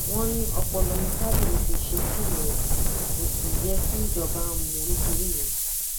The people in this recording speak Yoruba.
wọn ní ọpọlọ ni fábíyì fi ṣe fíìmù rẹ kó sì yẹ kí ìjọba mú un nítorí ìyẹn